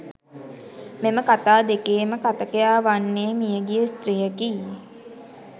මෙම කථා දෙකේම කථකයා වන්නේ මියගිය ස්ත්‍රියකි.